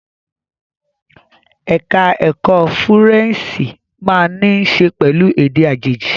Ẹ̀ka ẹ̀kó Fúrẹ́ǹṣì máa ní í ṣe pẹ̀lú èdè àjèjì.